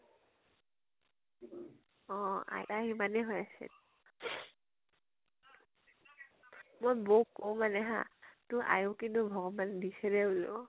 অ আইতাই হিমানে হৈ আছে। মই বৌক কও মানে হা তোৰ আয়ুস কিন্তু ভগৱানে দিছে দে বুলো।